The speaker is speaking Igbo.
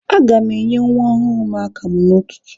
A ga m enye nwa ọhụrụ m akamụ n'ụtụtụ.